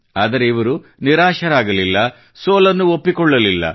ಆದರೆ ಇವರು ನಿರಾಶರಾಗಲಿಲ್ಲ ಸೋಲನ್ನು ಒಪ್ಪಿಕೊಳ್ಳಲಿಲ್ಲ